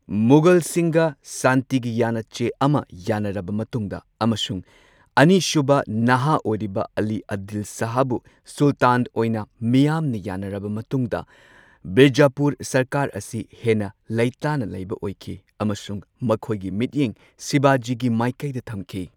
ꯃꯨꯘꯜꯁꯤꯡꯒ ꯁꯥꯟꯇꯤꯒꯤ ꯌꯥꯟꯅꯆꯦ ꯑꯃ ꯌꯥꯅꯔꯕ ꯃꯇꯨꯡꯗ, ꯑꯃꯁꯨꯡ ꯑꯅꯤꯁꯨꯕ ꯅꯍꯥ ꯑꯣꯏꯔꯤꯕ ꯑꯂꯤ ꯑꯥꯗꯤꯜ ꯁꯥꯍꯕꯨ ꯁꯨꯜꯇꯥꯟ ꯑꯣꯏꯅ ꯃꯤꯌꯥꯝꯅ ꯌꯥꯅꯔꯕ ꯃꯇꯨꯡꯗ ꯕꯤꯖꯥꯄꯨꯔ ꯁꯔꯀꯥꯔ ꯑꯁꯤ ꯍꯦꯟꯅ ꯂꯩꯇꯥꯅ ꯂꯩꯕ ꯑꯣꯏꯈꯤ ꯑꯃꯁꯨꯡ ꯃꯈꯣꯏꯒꯤ ꯃꯤꯠꯌꯦꯡ ꯁꯤꯕꯥꯖꯤꯒꯤ ꯃꯥꯏꯀꯩꯗ ꯊꯝꯈꯤ꯫